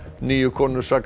níu konur saka